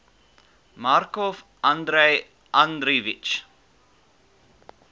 markov andrei andreevich